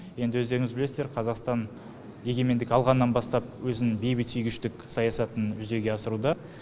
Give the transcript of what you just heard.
енді өздеріңіз білесіздер қазақстан егемендік алғаннан бастап өзінің бейбітсүйгіштік саясатын жүзеге асыруда